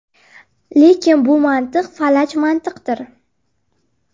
Lekin bu mantiq falaj mantiqdir.